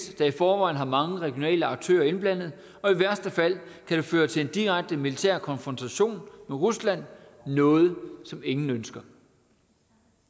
der i forvejen har mange regionale aktører indblandet og i værste fald kan det føre til en direkte militær konfrontation med rusland noget som ingen ønsker